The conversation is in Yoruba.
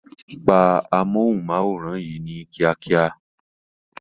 Pa amóhùnmáwòrán yìí ní kíákíá